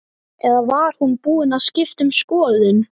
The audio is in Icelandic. Eða var hún búin að skipta um skoðun?